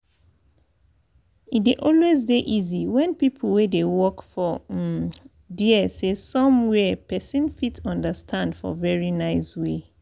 e dey always dey easy when people wey dey work for um dere say some where person fit understand for very nice way.